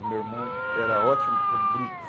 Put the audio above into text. E meu irmão era ótimo para o bruto.